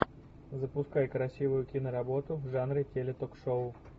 запускай красивую киноработу в жанре теле ток шоу